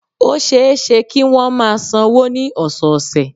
Ó ṣe é ṣe kí wọ́n máa sanwó ní ọ̀sọ̀ọ̀sè